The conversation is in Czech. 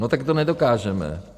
No tak to nedokážeme.